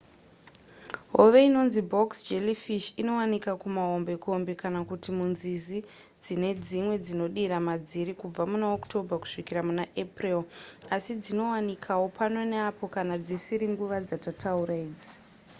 hove inonzi box jellyfish inowanika kumahombekombe kana kuti munzizi dzine dzimwe dzinodira madziri kubvira muna october kusvikira muna april asi dzinowanikawo pano neapo kana dzisiri nguva dzatataura idzi